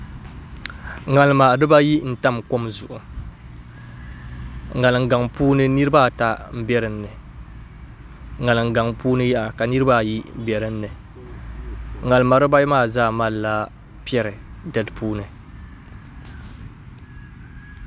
ŋarima dibayi n tam kom zuɣu ŋarim gaŋ puuni niraba ata n bɛ dinni ŋarim gaŋ puuni yaha ka niraba ayi bɛ dinni ŋarima dibayi maa zaa malila piɛri di puuni